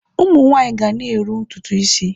Ụmụ nwaanyị ga na-eru ntutu isi.